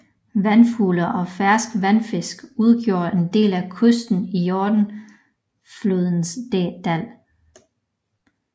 Vandfugle og ferskvandsfisk udgjorde en del af kosten i Jordanflodens dal